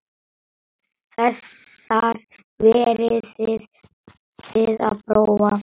Þessar verðið þið að prófa.